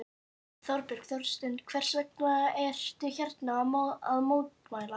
Þorbjörn Þórðarson: Hvers vegna ertu hérna að mótmæla?